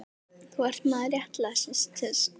Þú ert maður réttlætisins.